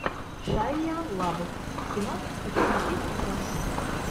шайа лабаф кино хочу смотреть сейчас